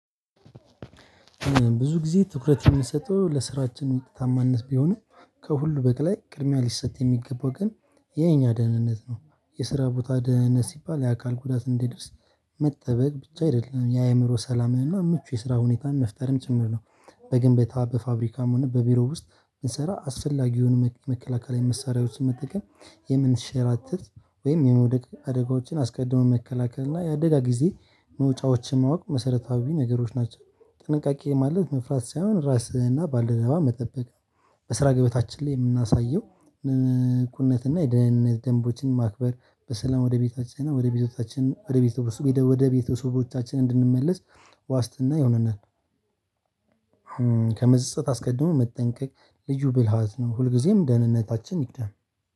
ብዙ ጊዜ ትኩረት የሚሰጠው ለስራችን ታማነት ቢሆንም ከሁሉ በቀላይ ቅድሚያ ሊሰጥ የሚገባው ግን የኛ ደህንነት ነው። የስራ ቦታ ደህንነት ሲባል የአካል ጉዳት እንዲደርስ መጠበቅ ብቻ አይደለም የአእምሮ ሰላምህና ምቹ የስራ ሁኔታን መፍጠርም ጭምር ነው። በግንብታ በፋብሪካም ሆነ በቢሮው ውስጥ ስንሰራ አስፈላጊውን መከላከል መሳሪያ ውስጥ መጠቀም የምንሸራተት ወይም የመውደቅ አደጋዎችን አስቀድሞ መከላከል እና የአደጋ ጊዜ መውጫዎችን ማወቅ መሰረታዊ ነገሮች ናቸው። ጥንቃቄ ማለት መፍራት ሳይሆን ራስህና ባልደረባ መጠበቅ በስራ ገበታችን ላይ የምናሳየው ንቁነት እና የድህንነት የደንቦችን ማክበር በሰላም ወደ ቤታችን እና ወደ ቤቶቻችን ወደ ቤቶቻችን ወደ ቤተሰቦቻችን እንድንመለስ ዋስትና ይሆናል። ከመጸጸት አስቀድሞ መጠንቀቅ ልዩ ብልሃት ነው ሁልጊዜም ደህንነታችን ይቅደም